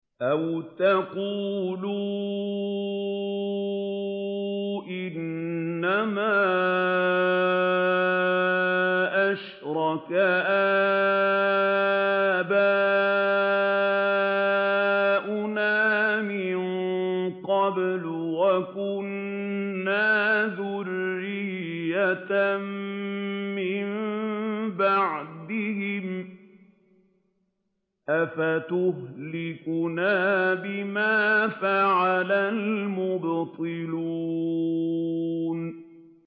أَوْ تَقُولُوا إِنَّمَا أَشْرَكَ آبَاؤُنَا مِن قَبْلُ وَكُنَّا ذُرِّيَّةً مِّن بَعْدِهِمْ ۖ أَفَتُهْلِكُنَا بِمَا فَعَلَ الْمُبْطِلُونَ